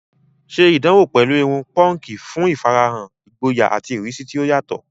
Ṣe ìdánwò pẹ̀lú irun púnkì fún ìfarahàn ìgboyà àti ìrísí tí ó yàtọ̀